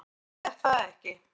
Eða er það ekki?